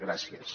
gràcies